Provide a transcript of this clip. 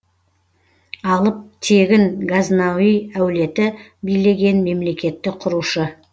алып тегін газнауи әулеті билеген мемлекетті құрушы